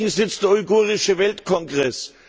In München sitzt der Uigurische Weltkongress.